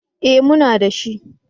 Eh, muna da shi